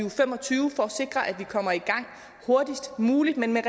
og fem og tyve for at sikre at vi kommer i gang hurtigst muligt men med